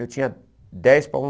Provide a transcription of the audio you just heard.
Eu tinha dez para